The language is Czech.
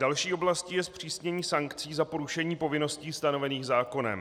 Další oblastí je zpřísnění sankcí za porušení povinností stanovených zákonem.